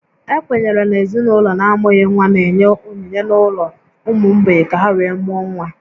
Ekwenyere na ezinaụlọ na-amụghị nwa n'enye onyinye n'ụlọ ụmụ mgbei ka ha wee mụọ nwa